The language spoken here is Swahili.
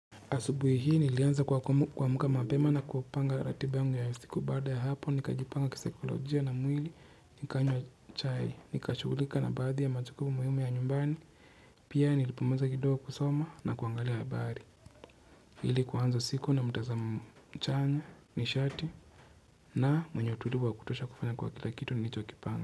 Asubuhi hii nilianza kuamka mapema na kupanga ratiba yangu ya siku baada ya hapo, nikajipanga kisaikolojia na mwili, nikanywa chai, nikashugulika na baadhi ya majukumu muhiumi ya nyumbani, pia nilipomaliza kidogo kusoma na kuangalia habari. Ili kuanza siku na mtazamo chanya, nishati na mwenye utulivu wa kutosha kufanya kwa kila kitu nilicho kipanga.